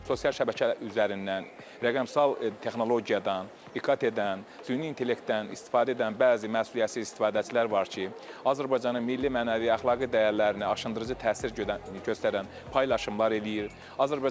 Sosial şəbəkə üzərindən rəqəmsal texnologiyadan, İKT-dən, süni intellektdən istifadə edən bəzi məsuliyyətsiz istifadəçilər var ki, Azərbaycanın milli mənəvi, əxlaqi dəyərlərini aşındırıcı təsir göstərən paylaşımlar eləyir.